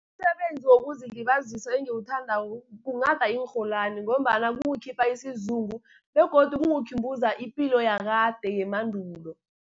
Umsebenzi wokuzilibazisa engiwuthandako kunghada iinrholwani, ngombana kungikhipha isizungu, begodu kungkhumbuza ipilo yakade yemandulo.